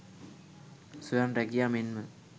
ස්වයං රැකියා මෙන්ම